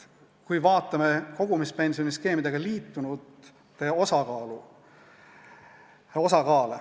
Vaatame kogumispensioniskeemidega liitunute osakaalu.